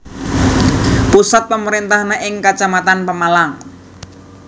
Pusat pemerintahané ing Kacamatan Pemalang